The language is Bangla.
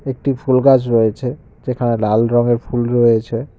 একটি ফুল গাছ রয়েছে যেখানে লাল রঙের ফুল রয়েছে।